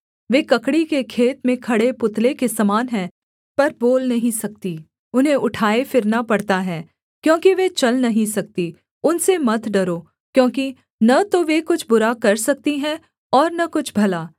वे ककड़ी के खेत में खड़े पुतले के समान हैं पर बोल नहीं सकती उन्हें उठाए फिरना पड़ता है क्योंकि वे चल नहीं सकती उनसे मत डरो क्योंकि न तो वे कुछ बुरा कर सकती हैं और न कुछ भला